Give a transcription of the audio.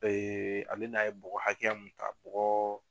Ee ale n'a ye bɔgɔ hakɛya mun ka bugɔ